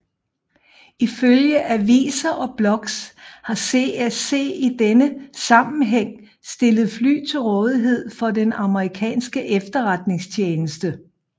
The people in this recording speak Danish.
Ifølge aviser og blogs har CSC i denne sammenhæng stillet fly til rådighed for den amerikanske efterretningstjeneste